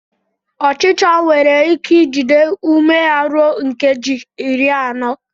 Ọchịchọ nwere ike ijide ume ha ruo nkeji iri anọ.